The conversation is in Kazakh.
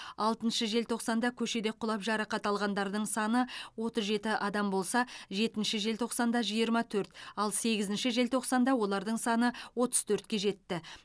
алтыншы желтоқсанда көшеде құлап жарақат алғандар саны отыз жеті адам болса жетінші желтоқсанда жиырма төрт ал сегізінші желтоқсанда олардың саны отыз төртке жетті